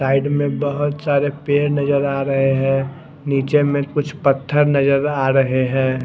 Side में बहोत सारे पेड़ नजर आ रहे है निचे में कुछ पत्थर नजर आ रहे है।